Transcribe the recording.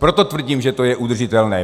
Proto tvrdím, že to je udržitelné.